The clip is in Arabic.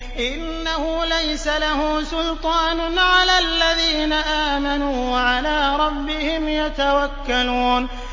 إِنَّهُ لَيْسَ لَهُ سُلْطَانٌ عَلَى الَّذِينَ آمَنُوا وَعَلَىٰ رَبِّهِمْ يَتَوَكَّلُونَ